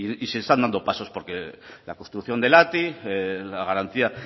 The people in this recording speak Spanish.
se están dando pasos porque la construcción del ati la garantía